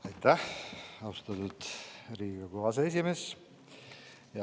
Aitäh, austatud Riigikogu aseesimees!